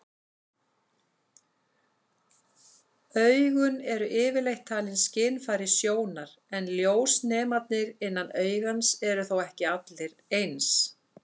Augun eru yfirleitt talin skynfæri sjónar, en ljósnemarnir innan augans eru þó ekki allir eins.